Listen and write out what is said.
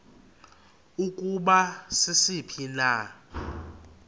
ukuba sisiphi na